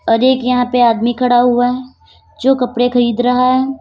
और एक यहाँ पे आदमी खड़ा हुआ है जो कपड़े खरीद रहा है।